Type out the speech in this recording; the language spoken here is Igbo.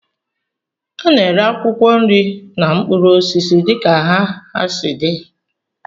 A na-ere akwụkwọ nri na mkpụrụ osisi dịka nha ha si dị